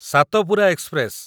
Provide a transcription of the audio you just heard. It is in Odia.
ସାତପୁରା ଏକ୍ସପ୍ରେସ